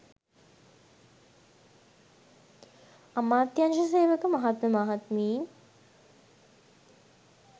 අමාත්‍යංශ සේවක මහත්ම මහත්මීන්